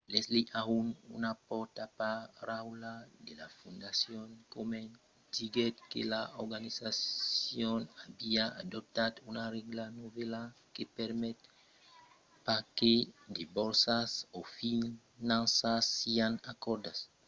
leslie aun una pòrtaparaula de la fondacion komen diguèt que l'organizacion aviá adoptat una règla novèla que permet pas que de borsas o un finançament sián acordats a d'organizacions que son objèctes d'una enquèsta judiciària